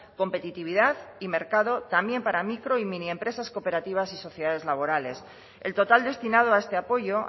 competitividad y mercado también para micro y mini empresas cooperativas y sociedades laborales el total destinado a este apoyo